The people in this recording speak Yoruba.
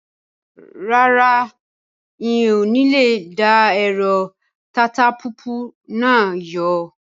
Rárá, ń ó ní lè dá ẹ̀rọ tatapùpù náà yọ.